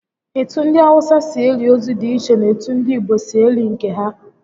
Etu ndi Awụsa si eli ozu dị iche na etu ndị Igbo si eli nke ha